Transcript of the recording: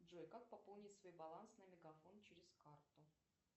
джой как пополнить свой баланс на мегафон через карту